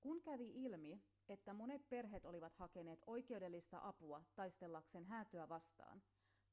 kun kävi ilmi että monet perheet olivat hakeneet oikeudellista apua taistellakseen häätöä vastaan